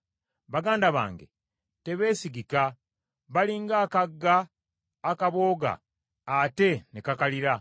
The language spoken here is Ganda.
Baganda bange tebeesigika, bali ng’akagga akabooga ate ne kakalira,